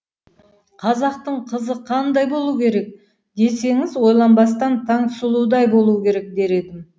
қазақтың қызы қандай болуы керек десеңіз ойланбастан таңсұлудай болуы керек дер едім